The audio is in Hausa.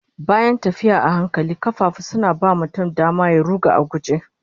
Bayan tafiya a hankali, kafafu suna ba mutum dama ya ruga a guje